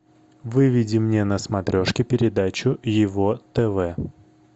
выведи мне на смотрешке передачу его тв